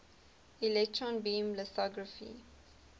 electron beam lithography